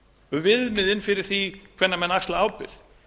um viðmiðin fyrir því hvenær menn axla ábyrgð